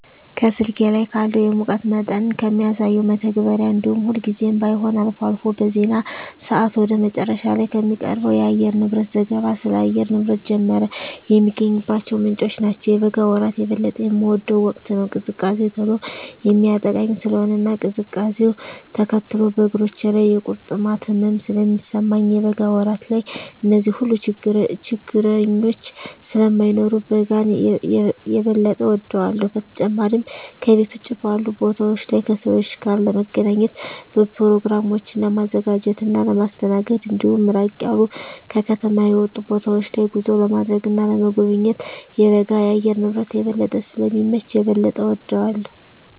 ከስልኬ ላይ ካለው የሙቀት መጠንን ከሚያሳሰው መተግበሪያ እንዲሁም ሁልጊዜም ባይሆን አልፎ አልፎ በዜና ሰአት ወደ መጨረሻ ላይ ከሚቀርበው የአየርንብረት ዘገባ ስለ አየር ንብረት ጀመረ የሚገኝባቸው ምንጮች ናቸው። የበጋ ወራት የበለጠ የምወደው ወቅት ነው። ቅዝቃዜ ቶሎ የሚያጠቃኝ ስለሆነ እና ቅዝቃዜውነ ተከትሎ በእግሮቼ ላይ የቁርጥማት ህመም ስለሚሰማኝ የበጋ ወራት ላይ እነዚህ ሁሉ ችግረኞች ስለማይኖሩ በጋን የበጠ እወዳለሁ። በተጨማሪም ከቤት ውጭ ባሉ ቦታወች ላይ ከሰወች ጋር ለመገናኘት፣ በኘሮግራሞችን ለማዘጋጀት እና ለማስተናገድ እንዲሁም ራቅ ያሉ ከከተማ የወጡ ቦታወች ላይ ጉዞ ለማድረግ እና ለመጎብኘት የበጋ የአየር ንብረት የበለጠ ስለሚመች የበለጠ እወደዋለሁ።